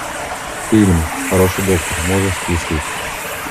фильм хороший доктор можешь включить